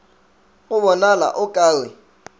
go bonala o ka re